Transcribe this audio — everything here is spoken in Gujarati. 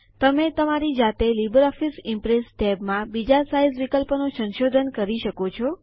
તમે તમારી જાતે લિબ્રિઓફિસ ઇમ્પ્રેસ ટેબ માં બીજા સાઈઝ વિકલ્પોનું સંશોધન કરી શકો છો